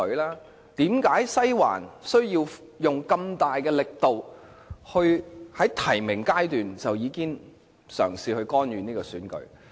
為何"西環"需要使用這麼大的力度，在提名階段已經嘗試干預這次選舉？